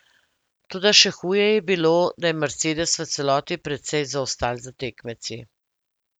Toda še huje je bilo, da je Mercedes v celoti precej zaostal za tekmeci.